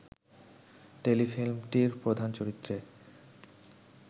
টেলিফিল্মটির প্রধান চরিত্রে